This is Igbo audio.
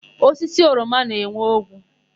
Osisi oroma na-enwe ogwu.